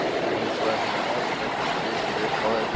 Annars værirðu heldur ekki að fitja upp á þessu.